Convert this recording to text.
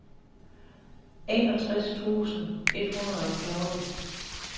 enogtres tusind et hundrede og fjorten